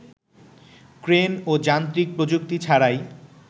crane ও যান্ত্রিক প্রযুক্তি ছাড়াই